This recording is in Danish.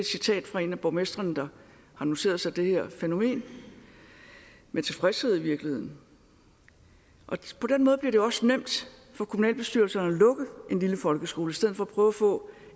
citat fra en af borgmestrene der har noteret sig det her fænomen med tilfredshed i virkeligheden og på den måde bliver det også nemt for kommunalbestyrelserne at lukke en lille folkeskole i stedet for at prøve at få